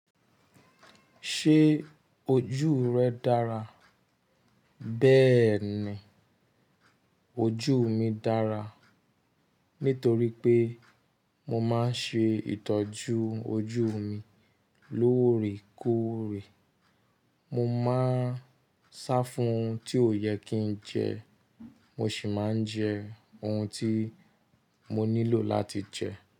Ṣé ojú rẹ dára? Bẹ́ẹ̀ ni, ojú mi dára. Nítorí pé mo máa ń ṣe ìtọ́jú ojú mi lóòrèkóòrè. Mo máa ń sá fún ohun tí ó yẹ kí n jẹ, mo sì máa ń jẹ ohun tí mo nílò láti jẹ.